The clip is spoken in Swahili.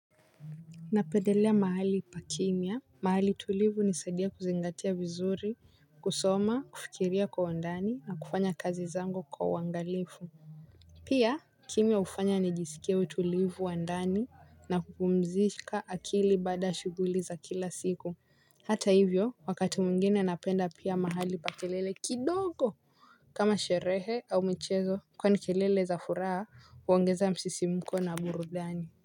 Napendelea mahali pakimya. Mahali tulivu hunisadia kuzingatia vizuri. Kusoma kufikiria kwa undani na kufanya kazi zangu kwa uwangalifu. Pia kimya hufanya nijisikie utulivu wandani na kupumzika akili baada ya shughuli za kila siku. Hata hivyo wakati mwingine napenda pia mahali pa kelele kidogo kama sherehe au michezo kwani kelele za furaha huongeza msisimuko na burudani.